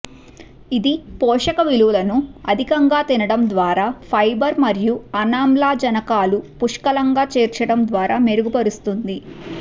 ఇది పోషక విలువలను అధికంగా తినడం ద్వారా ఫైబర్ మరియు అనామ్లజనకాలు పుష్కలంగా చేర్చడం ద్వారా మెరుగుపరుస్తుంది